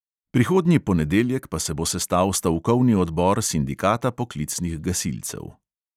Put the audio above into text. Prihodnji ponedeljek pa se bo sestal stavkovni odbor sindikata poklicnih gasilcev.